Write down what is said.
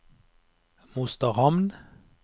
Mosterhamn